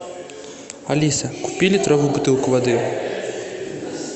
алиса купи литровую бутылку воды